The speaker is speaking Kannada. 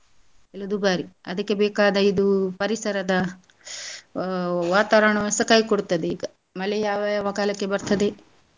ಎಲ್ಲ ದುಬಾರಿ ಅದಕ್ಕೆ ಬೇಕಾದ ಇದು ಪರಿಸರದ ಅಹ್ ವಾತಾವರ್ಣಸ ಕೈ ಕೊಡುತ್ತದೆ ಈಗ ಮಳೆ ಯಾವ ಯಾವ ಕಾಲಕ್ಕೆ ಬರ್ತದೆ.